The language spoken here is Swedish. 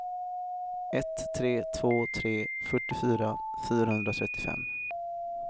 ett tre två tre fyrtiofyra fyrahundratrettiofem